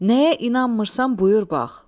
Nəyə inanmırsan buyur bax.